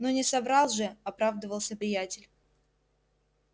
но не соврал же оправдывался приятель